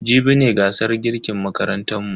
Jibi ne gasar girkin makarantan mu.